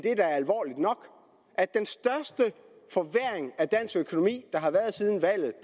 at den største forværring af dansk økonomi der har været siden valget